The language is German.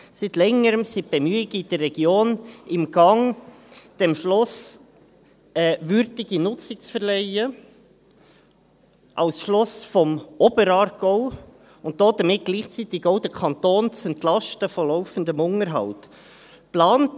Seit Längerem sind Bemühungen in der Region in Gang, diesem Schloss eine würdige Nutzung zu verleihen, als Schloss des Oberaargaus, und damit gleichzeitig auch den Kanton von laufendem Unterhalt zu entlasten.